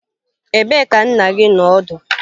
Ebee ka nna gi nọ ọdụ?